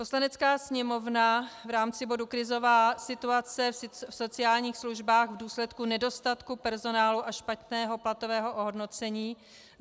Poslanecká sněmovna v rámci bodu Krizová situace v sociálních službách v důsledku nedostatku personálu a špatného platového ohodnocení